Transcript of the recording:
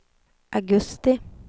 augusti